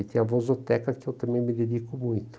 E tem a Vozoteca, que eu também me dedico muito.